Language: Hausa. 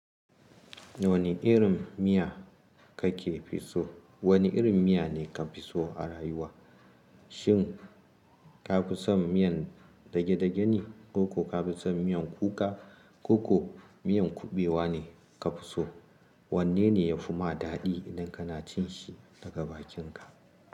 Wane irin miya kake fi so? Wane irin miya ne ka fi so a rayuwa? Shin ka fi son miyan dage-dage ne, ko ka fi son miyan kuka, ko ko miyan kuɓewa ne ka fi so? Wanne ne ya fi ma daɗi idan kana cin shi daga bakinka?